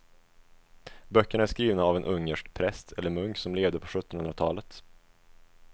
Böckerna är skrivna av en ungersk präst eller munk som levde på sjuttonhundratalet.